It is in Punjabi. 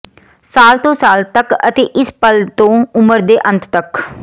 ਸਾਲ ਤੋਂ ਸਾਲ ਤਕ ਅਤੇ ਇਸ ਪਲ ਤੋਂ ਉਮਰ ਦੇ ਅੰਤ ਤੱਕ